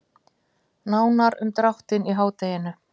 Nánar um dráttinn í hádeginu.